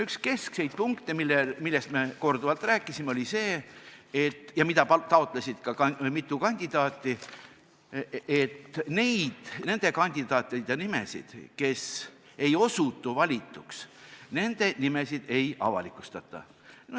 Üks keskseid punkte, millest me korduvalt rääkisime ja mida taotlesid ka mitu kandidaati, oli see, et nende kandidaatide nimesid, kes ei osutu valituks, ei avalikustata.